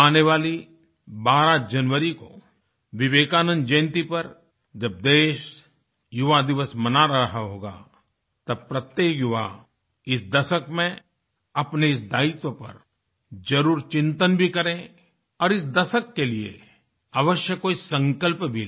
आने वाली 12 जनवरी को विवेकानंद जयंती पर जब देश युवादिवस मना रहा होगा तब प्रत्येक युवा इस दशक में अपने इस दायित्व पर जरुर चिंतन भी करे और इस दशक के लिए अवश्य कोई संकल्प भी ले